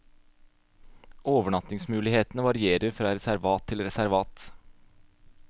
Overnattingsmulighetene varierer fra reservat til reservat.